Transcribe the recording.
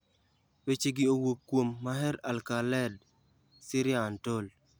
Wechegi owuok kuom: Maher Al-Khaled/SyriaUntold.